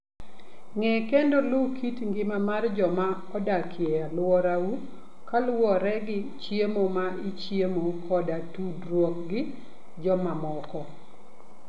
Ng'e kendo luw kit ngima mar joma odak e alworau kaluwore gi chiemo ma ichiemo koda tudruok gi jomamoko.